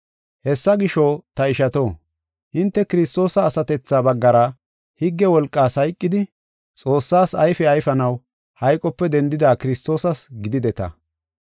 Hessa gisho, ta ishato, hinte Kiristoosa asatethaa baggara higge wolqaas hayqidi, Xoossaas ayfe ayfanaw hayqope dendida Kiristoosas gidideta.